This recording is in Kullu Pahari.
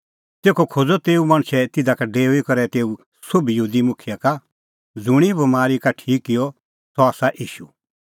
तेखअ खोज़अ तेऊ मणछै तिधा का डेऊई करै तेऊ सोभी यहूदी मुखियै का ज़ुंणी हुंह बमारी का ठीक किअ सह आसा ईशू